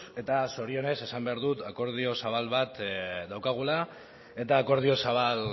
eta zorionez esan behar dut akordio zabal bat daukagula eta akordio zabal